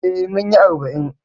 Eh, munyi arba'in